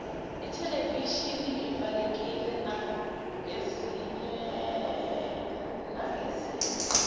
ithelevishini evalekile nangezinye